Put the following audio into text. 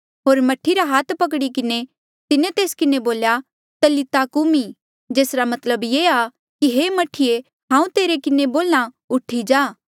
होर मह्ठी रा हाथ पकड़ी किन्हें तिन्हें तेस्सा किन्हें बोल्या तलीता कूमी जेसरा मतलब ये आ कि हे मह्ठीऐ हांऊँ तेरे किन्हें बोल्हा उठी जा